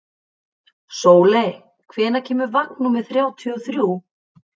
Sóley, hvenær kemur vagn númer þrjátíu og þrjú?